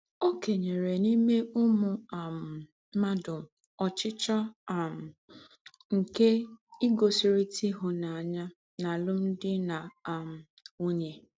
Ọ́ kènyere n’íme úmù um m̀ádụ ọ̀chíchíọ́ um nke ígósírị̀tà ihụ́nánya n’àlụ́mdị na um ǹwùnye.